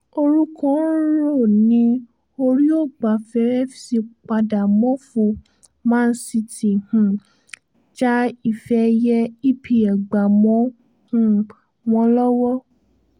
orúkọ ń rò ní oríọgbàfe fc padà mọ́fọ́ man city um já ife ẹ̀yẹ epl gbà mọ́ um wọn lọ́wọ́